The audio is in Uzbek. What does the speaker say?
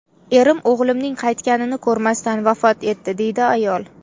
Erim o‘g‘limning qaytganini ko‘rmasdan vafot etdi”, deydi ayol.